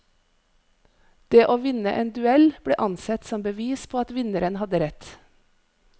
Det å vinne en duell, ble ansett som bevis på at vinneren hadde rett.